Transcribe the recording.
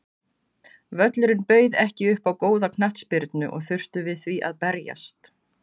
Völlurinn bauð ekki upp á góða knattspyrnu og þurftum við því að berjast.